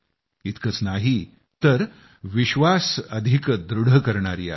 इतकंच नाही तर विश्वास अधिक दृढ करणारी आहे